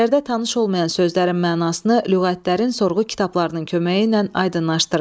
Əsərdə tanış olmayan sözlərin mənasını lüğətlərin, sorğu kitablarının köməyi ilə aydınlaşdırın.